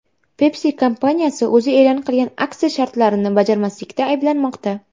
Pepsi kompaniyasi o‘zi e’lon qilgan aksiya shartlarini bajarmaslikda ayblanmoqda.